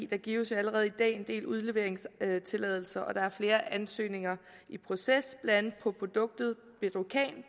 der gives jo allerede i dag en del udleveringstilladelser og der er flere ansøgninger i proces blandt andet på produktet bedrocan